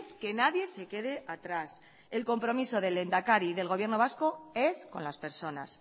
que nadie se quede atrás el compromiso del lehendakari y del gobierno vasco es con las personas